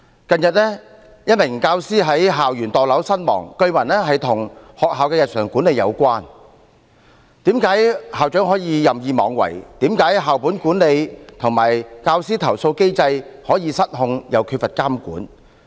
近日一名教師在校園墮樓身亡，據聞與學校的日常管理有關，為何校長可以任意妄為，為何校本管理和教師投訴機制可以失控並缺乏監管？